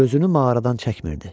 Gözünü mağaradan çəkmirdi.